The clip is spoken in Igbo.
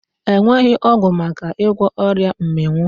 E nweghị ọgwụ maka ịgwọ ọrịa mmịnwụ.